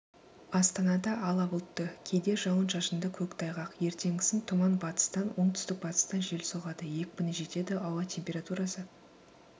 астанада ала бұлтты кейде жауын-шашынды көктайғақ ертеңгісін тұман батыстан оңтүстік-батыстан жел соғады екпіні жетеді ауа температурасы